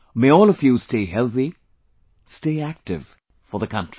May all of you stay healthy, stay active for the country